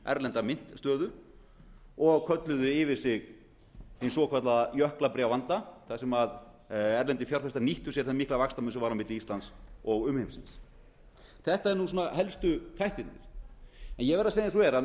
erlenda myntstöðu og kölluðu yfir sig hinn svokallaða jöklabréfavanda þar sem erlendir fjárfestar nýttu sér þann mikla vaxtarmun sem var milli íslands og umheimsins þetta eru helstu þættirnir ég verð að segja eins og er að